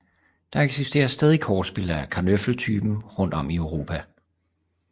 Der eksisterer stadig kortspil af karnöffel typen rundt om i Europa